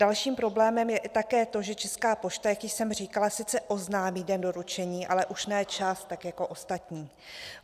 Dalším problémem je také to, že Česká pošta, jak již jsem říkala, sice oznámí den doručení, ale už ne čas tak jako ostatní.